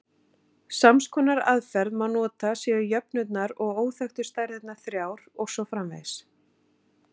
Sams konar aðferð má nota séu jöfnurnar og óþekktu stærðirnar þrjár og svo framvegis.